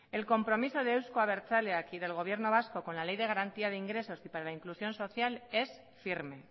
el compromiso de euzko abertzaleak y del gobierno vasco con la ley de garantía de ingresos y para la inclusión social es firme